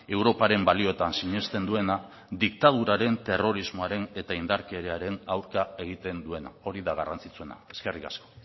europaren balioetan sinesten duena diktaduraren terrorismoaren eta indarkeriaren aurka egiten duena hori da garrantzitsuena eskerrik asko